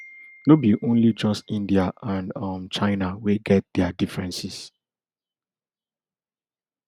no be only just india and um china wey get dia differences